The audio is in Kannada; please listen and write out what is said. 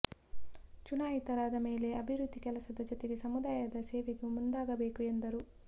ಚುನಾಯಿತರಾದ ಮೇಲೆ ಅಭಿವೃದ್ಧಿ ಕೆಲಸದ ಜತೆಗೆ ಸಮುದಾಯದ ಸೇವೆಗೂ ಮುಂದಾಗಬೇಕು ಎಂದರು